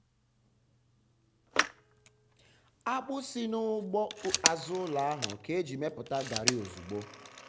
akpụ si n'ugbo azụ ụlọ ahụ ka e ji mepụta gari ozugbo.